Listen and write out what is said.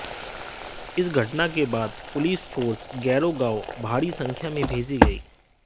इस घटना के बाद पुलिस फोर्स गैरो गांव भारी संख्या में भेजी गयी